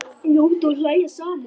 Njóta og hlæja saman.